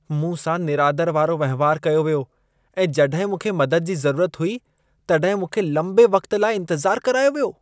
मूं सां निरादर वारो वहिंवारु कयो वियो ऐं जॾहिं मूंखे मदद जी ज़रूरत हुई तॾहिं मूंखे लंबे वक़्ति लाइ इंतज़ारु करायो वियो।